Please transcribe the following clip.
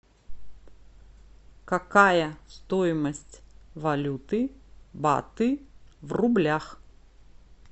какая стоимость валюты баты в рублях